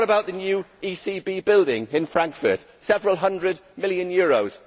What about the new ECB building in Frankfurt that cost several hundred million euros?